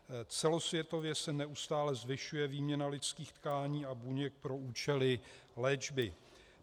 Celosvětově se neustále zvyšuje výměna lidských tkání a buněk pro účely léčby.